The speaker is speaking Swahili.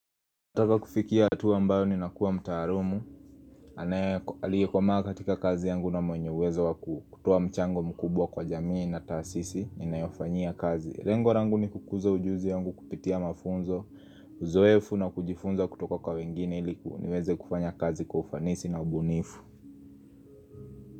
Nataka kufikia hatua ambayo ninakuwa mtaalumu anaye aliyekomaa katika kazi yangu na mwenye uwezo wakutoa mchango mkubwa kwa jamii na taasisi ninayofanyia kazi lengo langu ni kukuza ujuzi yangu kupitia mafunzo Uzoefu na kujifunza kutoka kwa wengine ili niweze kufanya kazi kwa ufanisi na ubunifu.